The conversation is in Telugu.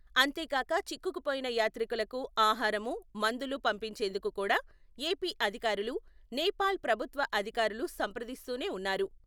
అంతేగాక చిక్కుకుపోయిన యాత్రికులకు ఆహారమూ, మందులు పంపించేందుకు కూడా ఏపీ అధికారులు నేపాల్ ప్రభుత్వ అధికారులు సంప్రదిస్తూనే ఉన్నారు.